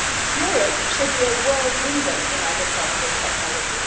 Europe should be a world leader in agricultural technology.